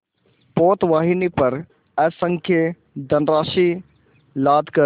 पोतवाहिनी पर असंख्य धनराशि लादकर